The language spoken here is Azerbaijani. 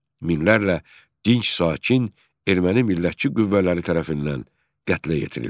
Minlərlə dinc sakin erməni millətçi qüvvələri tərəfindən qətlə yetirildi.